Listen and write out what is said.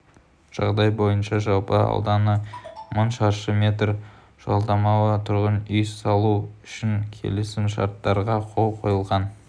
жағдай бойынша жалпы ауданы мың шаршы метр жалдамалы тұрғын үй салу үшін келісімшарттарға қол қойылған